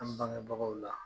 An bangebagaw la